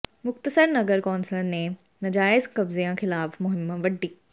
ਮੁਕਤਸਰ ਨਗਰ ਕੌਂਸਲ ਨੇ ਨਾਜਾਇਜ਼ ਕਬਜ਼ਿਆਂ ਖ਼ਿਲਾਫ਼ ਮੁਹਿੰਮ ਵਿੱਢੀ